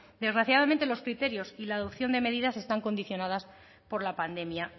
desgraciadamente los criterios y la adopción de medidas están condicionadas por la pandemia